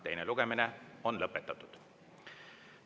Teine lugemine on lõpetatud.